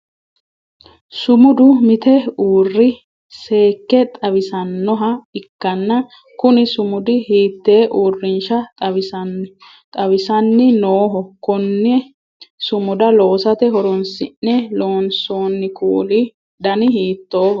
Sumudu mite uuri seeke xawisanoha ikanna kunni sumudi hiitee uurinsha xawisanni Nooho? Konne sumuda loosate horoonsi'ne loonsoonni kuuli danni hiitooho?